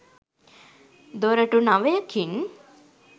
දොරටු නවයකින්